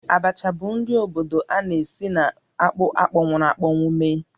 Abacha bụ nri obodo a na-esi na akpụ akpọnwụrụ̀ akpọnwụ mee